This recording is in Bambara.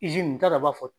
n t'a dɔn a b'a fɔ